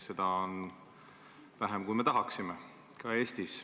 Seda on vähem, kui me tahaksime, ka Eestis.